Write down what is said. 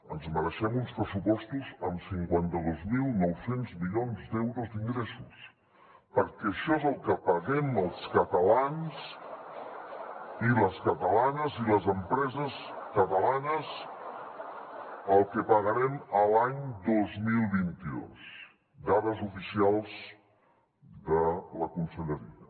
ens mereixem uns pressupostos amb cinquanta dos mil nou cents milions d’euros d’ingressos perquè això és el que paguem els catalans i les catalanes i les empreses catalanes el que pagarem l’any dos mil vint dos dades oficials de la conselleria